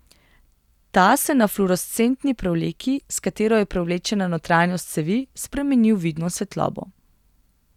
Ta se na fluorescentni prevleki, s katero je prevlečena notranjost cevi, spremeni v vidno svetlobo.